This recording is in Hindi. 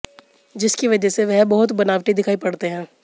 जिसकी वजह से वह बहुत बनावटी दिखाई पड़ते हैं